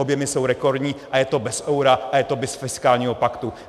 Objemy jsou rekordní a je to bez eura a je to bez fiskálního paktu.